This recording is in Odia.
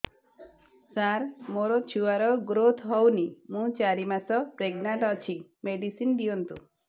ସାର ମୋର ଛୁଆ ର ଗ୍ରୋଥ ହଉନି ମୁ ଚାରି ମାସ ପ୍ରେଗନାଂଟ ଅଛି ମେଡିସିନ ଦିଅନ୍ତୁ